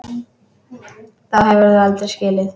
Þá hefur þú aldrei skilið.